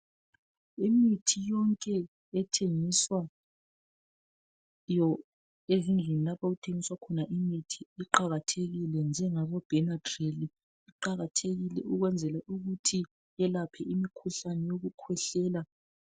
Imithi yonke ethengiswayo ezindlini lapho okuthengiswa khona imithi iqakathekile njengabo Benadryl . Iqakathekile ukwenzela ukuthi yelaphe imikhuhlane yokukhwehlela.